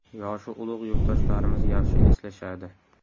Yoshi ulug‘ yurtdoshlarimiz yaxshi eslashadi.